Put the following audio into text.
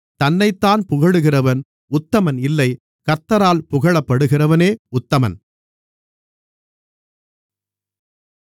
தன்னைத்தான் புகழுகிறவன் உத்தமன் இல்லை கர்த்தரால் புகழப்படுகிறவனே உத்தமன்